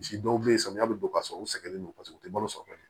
Misi dɔw be yen samiya bi don ka sɔrɔ u sɛgɛnnen don paseke u te balo sɔrɔ ka ɲɛ